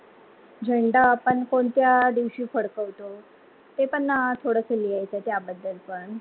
झेंडा आपण कोणत्या दिवशी फड फडतो, ते पण थोडस लिहायच त्या बददल पण